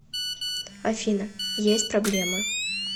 афина есть проблемы